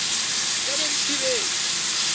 di ka be di thibetswe